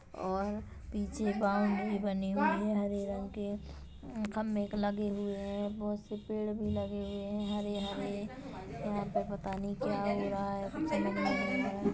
और पीछे बाउंड्री बनी हुई है हरे रंग के खंबे के लगे हुऐ बहोत से पेड़ भी लगे हुऐ है हरे-हरे यहाँ पर पता नही क्या हो रहा है